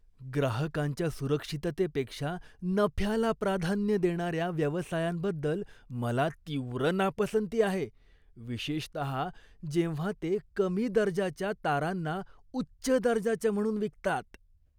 ग्राहकांच्या सुरक्षिततेपेक्षा नफ्याला प्राधान्य देणाऱ्या व्यवसायांबद्दल मला तीव्र नापसंती आहे, विशेषतः जेव्हा ते कमी दर्जाच्या तारांना उच्च दर्जाच्या म्हणून विकतात.